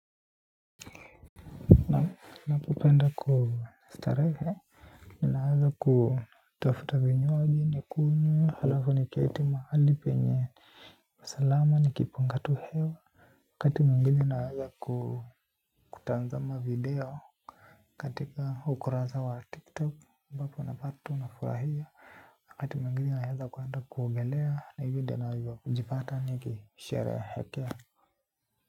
Ninapopenda kustarehe ninaweza kutafuta vinywaji nikunywe halafu niketi mahali penye usalama nikiipunga tu hewa. Wakati mwingine naweza kutazama video katika ukurasa wa Tiktok ambapo napata nafurahia. Wakati mwingine naeza kuenda kuogelea na hivi ndio navyojipata nikisherehekea.